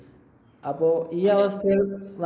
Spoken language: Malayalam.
അപ്പൊ ഈ അവസ്ഥയിൽ